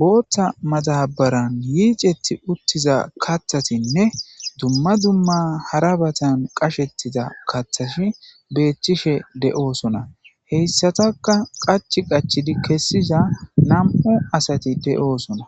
bootta madabaran yiicetti uttiza kathatinne dumma dumma hara batan qashettida kathashi beethchishe de'oosona heyssataka qach qachid kessiza nam'u asati de'oosona